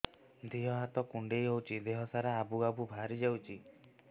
ଦିହ ହାତ କୁଣ୍ଡେଇ ହଉଛି ଦିହ ସାରା ଆବୁ ଆବୁ ବାହାରି ଯାଉଛି